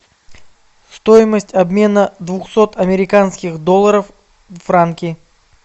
стоимость обмена двухсот американских долларов в франки